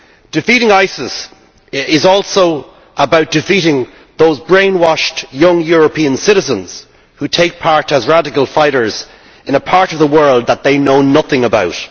Defeating ISIS is also about defeating those brainwashed young European citizens who participate as radical fighters in a part of the world that they know nothing about.